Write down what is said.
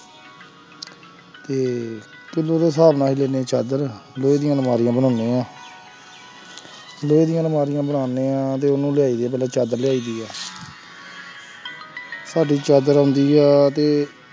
ਤੇ ਕਿੱਲੋ ਦੇ ਹਿਸਾਬ ਨਾਲ ਚਾਦਰ ਲੋਹੇ ਦੀਆਂ ਅਲਮਾਰੀਆਂ ਬਣਾਉਂਦੇ ਹਾਂ ਲੋਹੇ ਦੀਆਂ ਅਲਮਾਰੀਆਂ ਬਣਾਉਂਦੇ ਹਾਂ ਤੇ ਉਹਨੂੰ ਲਿਆਈਦੀ ਹੈ ਪਹਿਲਾਂ ਚਾਦਰ ਲਿਆਈਦੀ ਹੈ ਸਾਡੀ ਚਾਦਰ ਆਉਂਦੀ ਹੈ ਤੇ